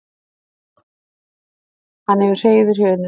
Hann hefur hreiður hjá unnustunni.